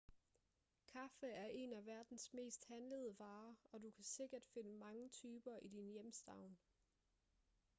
kaffe er en af verdens mest handlede varer og du kan sikkert finde mange typer i din hjemstavn